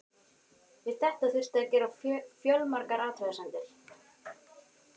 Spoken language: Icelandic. Við þetta þurfti að gera fjölmargar athugasemdir.